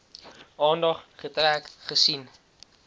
aandag getrek aangesien